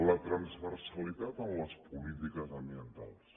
la transversalitat en les polítiques ambientals